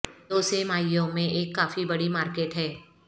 دو سہ ماہیوں میں ایک کافی بڑی مارکیٹ ہے